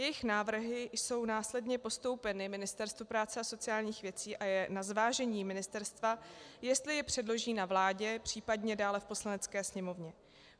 Jejich návrhy jsou následně postoupeny Ministerstvu práce a sociálních věcí a je na zvážení ministerstva, jestli je předloží na vládě, případně dále v Poslanecké sněmovně.